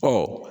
Ɔ